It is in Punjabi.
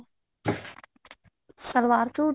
ਸਲਵਾਰ ਸੂਟ